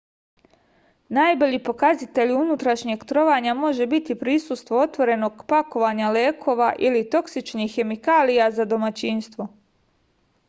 najbolji pokazatelj unutrašnjeg trovanja može biti prisustvo otvorenog pakovanja lekova ili toksičnih hemikalija za domaćinstvo